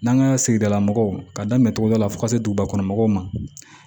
N'an ka sigidala mɔgɔw ka daminɛ cogo dɔ la fo ka se duguba kɔnɔna mɔgɔw ma